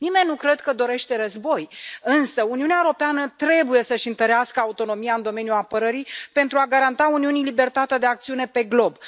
Nimeni nu cred că dorește război, însă Uniunea Europeană trebuie să își întărească autonomia în domeniul apărării, pentru a garanta Uniunii libertatea de acțiune pe glob.